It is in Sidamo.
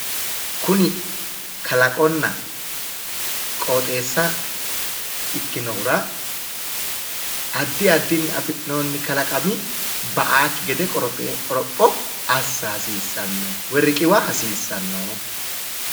Kuni kalaqonna qooxeessa ikkinohura addi addini afi'nooni kalaqami ba''aakki gede qoropho assa woyi riqiwa hasiissanno.